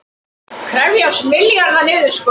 Krefjast milljarða niðurskurðar